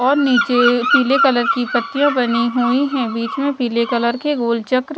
और नीचे पीले कलर की पत्तियां बनी हुई हैं बीच में पीले कलर के गोल चक्र--